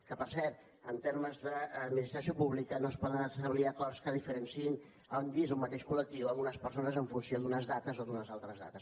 que per cert en termes d’administració pública no es poden establir acords que diferenciïn dins d’un mateix col·lectiu unes persones en funció d’unes dates o d’unes altres dates